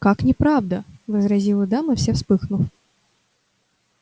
как неправда возразила дама вся вспыхнув